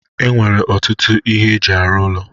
E nwere ọtụtụ ihe eji arụ ụlọ